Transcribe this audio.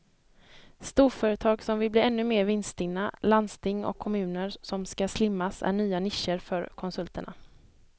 Storföretag som vill bli ännu mer vinststinna, landsting och kommuner som ska slimmas är nya nischer för konsulterna.